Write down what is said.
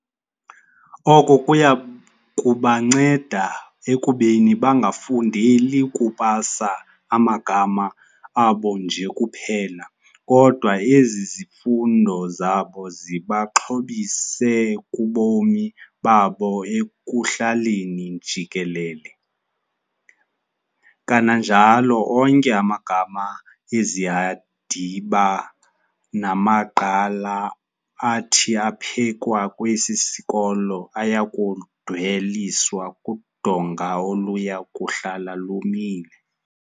Oko kuyakubanceda ekubeni bangafundeli kupasa amabanga abo nje kuphela, kodwa ezi zifundo zabo zibaxhobise kubomi babo ekuhlaleni jikelele. Kananjalo onke amagama ezihandiba namagqala athi aphekwa kwesi sikolo ayakudweliswa kudonga oluyakuhlala lumile.